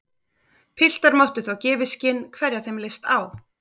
Piltar máttu þá gefa í skyn hverja þeim leist á.